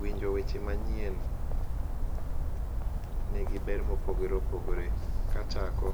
Winjo weche manyien negi ber mopogore opogore. Kachako,